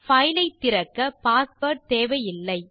file ஐ திறக்க password தேவையில்லை